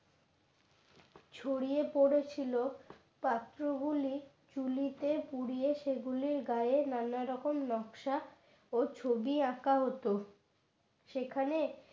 ছড়িয়ে পড়েছিল পাত্রগুলি চুলি পুড়িয়ে সেগুলি গায়ে নানা রকম নকশা ও ছবি আঁকা হতো। সেখানে